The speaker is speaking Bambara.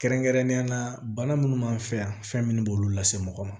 Kɛrɛnkɛrɛnnenya la bana minnu b'an fɛ yan fɛn minnu b'olu lase mɔgɔ ma